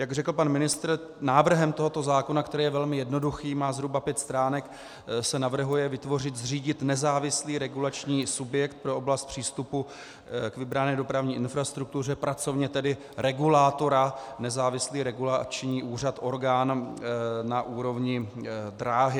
Jak řekl pan ministr, návrhem tohoto zákona, který je velmi jednoduchý, má zhruba pět stránek, se navrhuje vytvořit, zřídit nezávislý regulační subjekt pro oblast přístupu k vybrané dopravní infrastruktuře, pracovně tedy regulátora, nezávislý regulační úřad, orgán na úrovni dráhy.